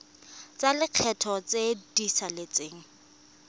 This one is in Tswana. tsa lekgetho tse di saletseng